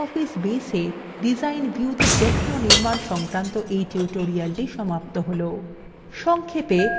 এখানেই libreoffice baseএ design viewতে প্রশ্ন নির্মাণ সংক্রান্ত এই tutorial সমাপ্ত হল